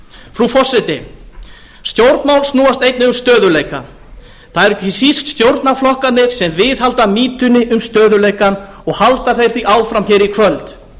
frú forseti stjórnmál snúast einnig um stöðugleika það eru ekki síst stjórnarflokkarnir sem viðhalda mýtunni um stöðugleikann og halda þeir því áfram hér í kvöld